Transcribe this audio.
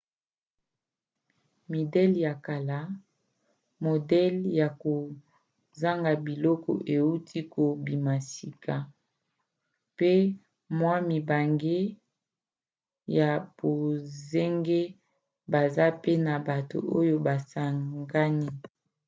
midele ya kala modele ya kozanga biloko euti kobima sika pe mwa mibange ya bonzenga baza pe na bato oyo basangani